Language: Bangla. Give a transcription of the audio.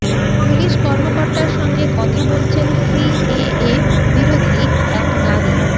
পুলিশ কর্মকর্তার সঙ্গে কথা বলছেন সিএএ বিরোধী এক নারী